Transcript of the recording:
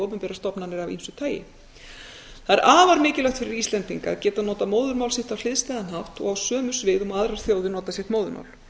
opinberar stofnanir af ýmsu tagi það er afar mikilvægt fyrir íslendinga að geta notað móðurmál sitt á hliðstæðan hátt og á sömu sviðum og aðrar þjóðir nota sitt móðurmál